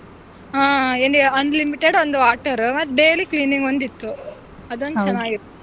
ಹ್ಮ್ ಎಲ್ಲಿ unlimited ಒಂದ್ water ಮತ್ತೆ daily cleaning ಒಂದಿತ್ತು ಅದೊಂದ್ ಚೆನ್ನಾಗಿತ್ತು.